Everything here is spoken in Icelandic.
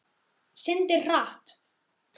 Syndir hratt.